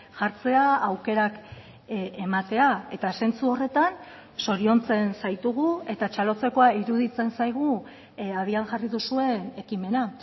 jartzea aukerak ematea eta zentzu horretan zoriontzen zaitugu eta txalotzekoa iruditzen zaigu abian jarri duzuen ekimena